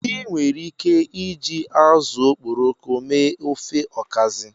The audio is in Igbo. Ị nwere ike iji azụ okporoko mee ofe Okazi.